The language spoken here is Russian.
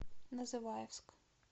называевск